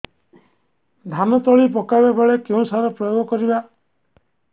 ଧାନ ତଳି ପକାଇବା ବେଳେ କେଉଁ ସାର ପ୍ରୟୋଗ କରିବା